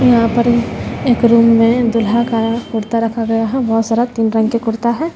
यहां पर एक रुम में दूल्हा का कुर्ता रखा गया बहोत सारा तीन रंग के कुर्ता है।